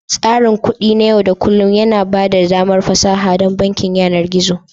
Tsarin kuɗi na yau da kullun yana ba da damar fasaha don bankin yanar gizo.